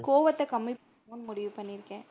கோவத்த கம்மி பண்ணனும்னு முடிவு பண்ணி இருக்கேன்.